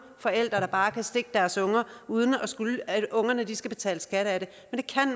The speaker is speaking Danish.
forældre der bare kan stikke deres unger uden at ungerne skal betale skat af det